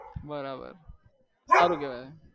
બરાબર સારું કેવાય